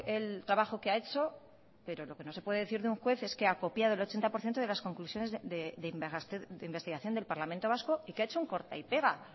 el trabajo que ha hecho pero lo que no se puede decir de un juez es que ha copiado el ochenta por ciento de las conclusiones de investigación del parlamento vasco y que ha hecho un corta y pega